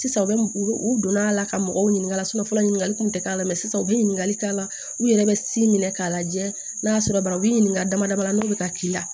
Sisan u bɛ u u donn'a la ka mɔgɔw ɲininka fɔlɔ ɲininkali kun tɛ k'a la mɛ sisan u bɛ ɲininkali k'a la u yɛrɛ bɛ minɛ k'a lajɛ n'a sɔrɔ banabe ɲininka dama dama na n'o bɛ ka k'i la